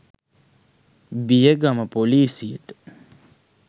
බියගම ‍පොලිසියට